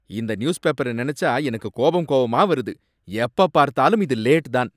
இந்த நியூஸ்பேப்பர நினைச்சா எனக்குக் கோபம் கோபமா வருது, எப்ப பார்த்தாலும் இது லேட் தான்.